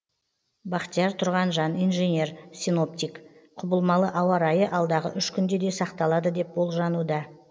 бахтияр тұрғанжан инженер синоптик құбылмалы ауа райы алдағы үш күнде де сақталады деп болжануда